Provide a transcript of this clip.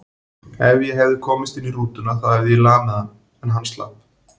Ef ég hefði komist inn í rútuna þá hefði ég lamið hann, en hann slapp.